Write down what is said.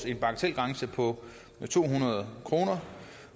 en bagatelgrænse på to hundrede kr